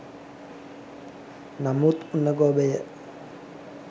නමුත් උණ ගොබය